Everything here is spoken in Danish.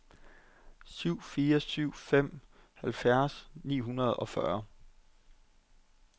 syv fire syv fem halvfjerds ni hundrede og fyrre